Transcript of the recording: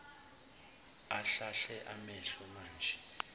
ahlahle amehlo manje